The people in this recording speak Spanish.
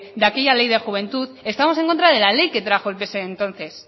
de aquella ley de juventud estamos en contra de la ley que trajo el pse entonces